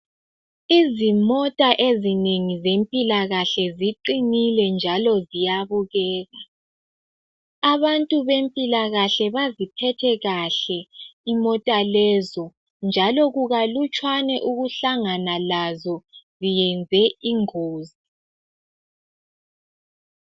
Izimota ezinengi zempilakahle ziqinile njalo ziyabukeka. Abantu bempilakahle baziphathe kuhle imota lezo, njalo kukalutshwana ukuhlangana lazo zenze ingozi.